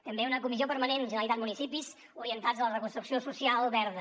també una comissió permanent generalitat municipis orientada a la reconstrucció social verda